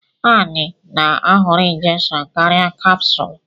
Annie na-ahọrọ injection karịa capsule.